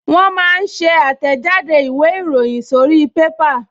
Wọ́n máa ń ṣe àtẹ̀jáde ìwé ìròyìn sórí pépà